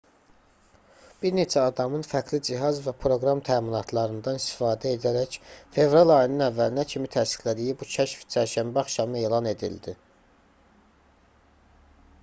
bir neçə adamın fərqli cihaz və proqram təminatlarından istifadə edərək fevral ayının əvvəlinə kimi təsdiqlədiyi bu kəşf çərşənbə axşamı elan edildi